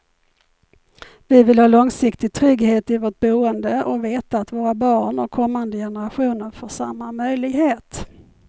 Vi vill ha långsiktig trygghet i vårt boende och veta att våra barn och kommande generationer får samma möjlighet.